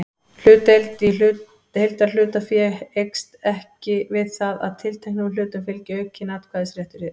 Hlutdeild í heildarhlutafé eykst ekki við það að tilteknum hlutum fylgi aukinn atkvæðisréttur.